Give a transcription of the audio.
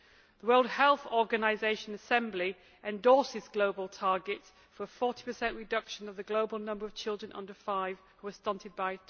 The World Health Organisation Assembly endorses the global target for a 40 reduction of the global number of children under five who are stunted by